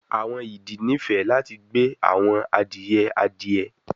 Awọn idì nifẹ lati gbe awọn adiye adie